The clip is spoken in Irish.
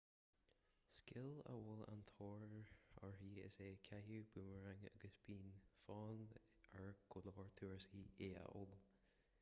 scil a bhfuil an-tóir uirthi is ea caitheamh búmaraing agus bíonn fonn ar go leor turasóirí í a fhoghlaim